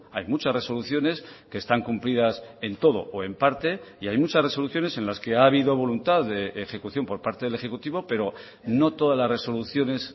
hay muchas resoluciones que están cumplidas en todo o en parte y hay muchas resoluciones en las que ha habido voluntad de ejecución por parte del ejecutivo pero no todas las resoluciones